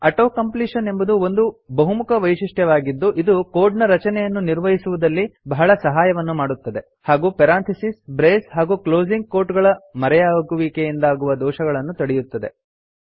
auto completion ಎಂಬುದು ಒಂದು ಬಹುಮುಖ ವೈಶಿಷ್ಟ್ಯವಾಗಿದ್ದು ಇದು ಕೋಡ್ ನ ರಚನೆಯನ್ನು ನಿರ್ವಹಿಸುವುದರಲ್ಲಿ ಬಹಳ ಸಹಾಯವನ್ನು ಮಾಡುತ್ತದೆ ಹಾಗೂ ಪೆರಾಂಥಿಸಿಸ್ ಬ್ರೇಸ್ ಹಾಗೂ ಕ್ಲೋಸಿಂಗ್ ಕೋಟ್ ಗಳ ಮರೆಯಾಗುವಿಕೆಯಿಂದಾಗುವ ದೋಷಗಳನ್ನು ತಡೆಯುತ್ತದೆ